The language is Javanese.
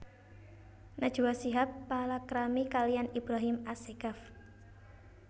Najwa Shihab palakrami kaliyan Ibrahim Assegaf